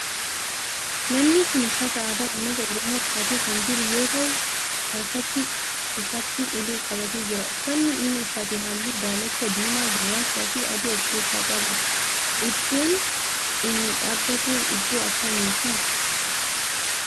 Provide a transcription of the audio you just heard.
Namni kun uffata aadaa ummata oromoo uffatee kan jiru yoo ta'u harkatti isaatti ulee qabatee jira. Uffanni inni uffate halluu daalacha, diimaa, gurraachaa fi adii of keessaa qaba. Iddoon inni dhaabbate iddoo akkamiti?